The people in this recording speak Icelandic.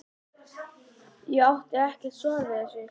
Ég átti ekkert svar við þessu.